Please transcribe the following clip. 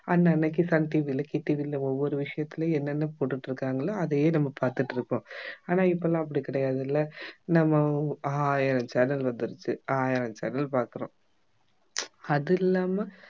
அன்னன்னைக்கு சன் டிவில, கே டிவில ஒவ்வொரு விஷயத்திலும் என்னென்ன போட்டுகிட்டு இருக்காங்களோ அதயே நம்ம பார்த்திட்டிருப்போம் ஆனா இப்பலாம் அப்படி கிடையாது இல்ல நம்ம ஆயிரம் channel வந்துருச்சு ஆயிரம் channel பார்க்கிறோம் அது இல்லாம